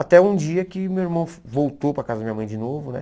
Até um dia que meu irmão voltou para casa da minha mãe de novo, né?